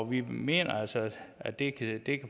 vi mener altså at det kan